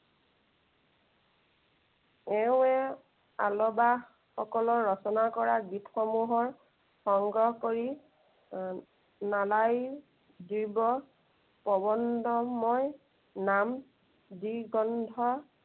এওঁৱেই অলৱা সকলৰ ৰচনা কৰা গীত সমূহ সংগ্ৰহ কৰি এৰ নালাই জীৱ প্ৰৱন্ধমৰ নাম, দ্বি গ্ৰন্থৰ